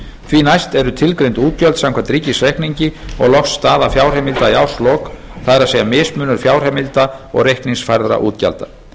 því næst eru tilgreind útgjöld samkvæmt ríkisreikningi og loks staða fjárheimilda í árslok það er mismunur fjárheimilda og reikningsfærðra útgjalda